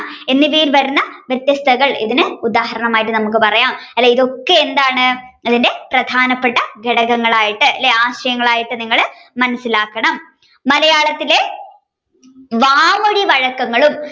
എന്നിവയിൽ വരുന്ന വ്യത്യസ്ത നമ്മുക്ക് ഉദാഹരണമായിട്ട് നമ്മുക്ക് പറയാം ഇതൊക്കെ എന്താണ് അതിന്റെ പ്രധാനപ്പെട്ട ഘടകങ്ങളായിട്ട് ആശയങ്ങളായിട്ട് മനസ്സിലാക്കണം മലയാളത്തിലെ വാമൊഴിവഴക്കങ്ങളും